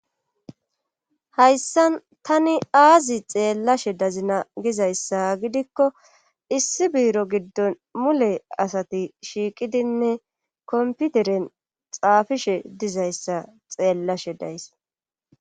Hayssan tani aazi xeellashe dazina gizayssa gidikko issi biiro giddon mule asati shiiqidinne komputeren xaafishe dizayssa xeellashe days.